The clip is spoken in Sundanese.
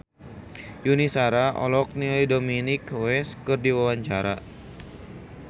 Yuni Shara olohok ningali Dominic West keur diwawancara